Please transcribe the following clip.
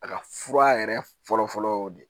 A ka fura yɛrɛ fɔlɔfɔlɔ y'o de ye